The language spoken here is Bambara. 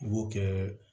I b'o kɛ